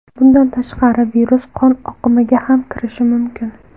Bundan tashqari virus qon oqimiga ham kirishi mumkin.